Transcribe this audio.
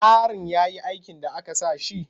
Yarin ya yi aikin da aka sa shi?